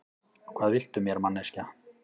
Hvað viltu mér, manneskja?